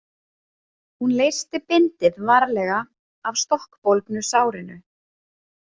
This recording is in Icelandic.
Hún leysti bindið varlega af stokkbólgnu sárinu.